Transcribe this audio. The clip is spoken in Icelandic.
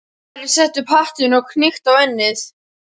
Ari setti upp hattinn og hnykkti á ennið.